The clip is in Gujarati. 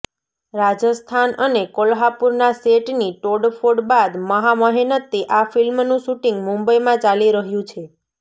રાજસ્થાન અને કોલ્હાપુરના સેટની તોડફોડ બાદ મહા મહેનતે આ ફિલ્મનું શૂટિંગ મુંબઇમાં ચાલી રહ્યું છે